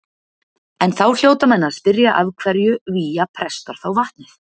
En þá hljóta menn að spyrja af hverju vígja prestar þá vatnið.